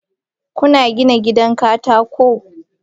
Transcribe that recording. Kuna gina gidan katako?